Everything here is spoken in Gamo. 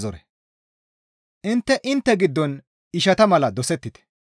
Intte intte giddon ishata mala dosettite.